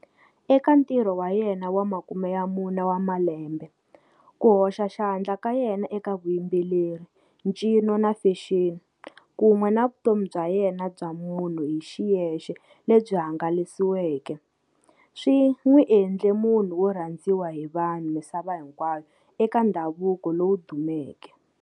Eka ntirho wa yena wa makume ya mune wa malembe, ku hoxa xandla ka yena eka vuyimbeleri, ncino na fexeni, kun'we na vutomi bya yena bya munhu hi xiyexe lebyi hangalasiweke, swi n'wi endle munhu wo rhandziwa hi vanhu misava hinkwayo eka ndhavuko lowu dumeke.